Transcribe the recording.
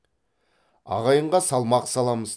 ағайынға салмақ саламыз